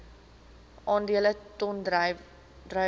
aandele ton druiwe